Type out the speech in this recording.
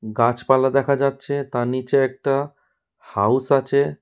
গাছপালা দেখা যাচ্ছে তার নীচে একটা হাউস আছে।